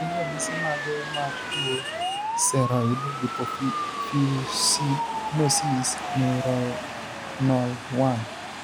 Gin ranyisi mage mar tuo Ceroid lipofuscinosis neuronal 1?